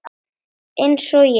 Eins og ég?